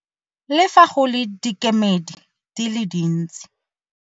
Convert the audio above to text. Le fa go le dikemedi di le dintsi.